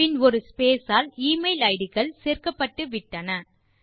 பின் ஒரு ஸ்பேஸ் ஆல் எமெயில் இட் கள் சேர்க்கப்பட்டு விட்டன